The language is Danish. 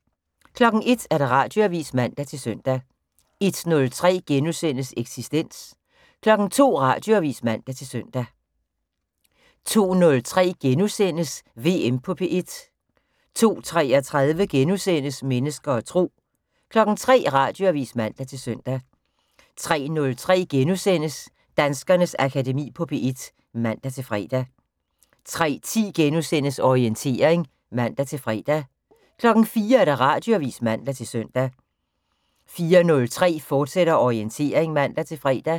01:00: Radioavis (man-søn) 01:03: Eksistens * 02:00: Radioavis (man-søn) 02:03: VM på P1 (4:6)* 02:33: Mennesker og Tro * 03:00: Radioavis (man-søn) 03:03: Danskernes Akademi på P1 *(man-fre) 03:10: Orientering *(man-fre) 04:00: Radioavis (man-søn) 04:03: Orientering, fortsat (man-fre)